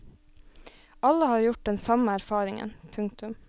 Alle har gjort den samme erfaringen. punktum